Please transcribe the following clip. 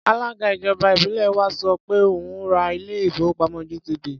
Alága ìjọba ìbílẹ̀ wa sọ pé òun ó ò ra ilé-ìfowópamọ́ GTB.